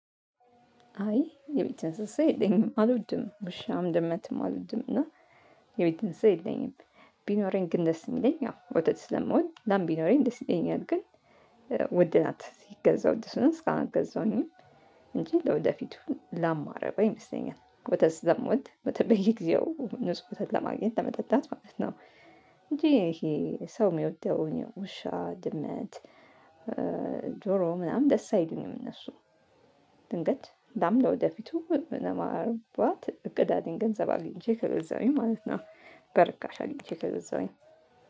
አይ የቤት እንስሳ የለኝም አልወድም ውሻም ድመትም አልወድም እና የቤት እንስሳ የለኝም። ቢኖረኝ ግን ደስ የሚለኝ ያው ወተት ስለምወድ ላም ቢኖረኝ ደስ ይለኛል ግን ውድ ናት ሲገዛ ውድ ስለሆነ እስካሁን አልገዛሁኝም። እንጂ ለወደፊቱ ላም የማረባ ይመስለኛል ወተት ስለምወድ በተ በየጊዜው ንጹህ ወተት ለማግኘት ለመጠጣት ማለት ነው። እንጂ ይሄ ሰው የሚወደው ውሻ ድመት ዶሮ ምናምን ደስ አይሉኝም። እነሱ ድንገት ላም ለወደፊቱ ለማርባት እቅድ አለኝ ገንዘብ አግኝቼ ከገዛሁኝ ማለት ነው። በእርካሽ አግኝቼ ከዛውኝ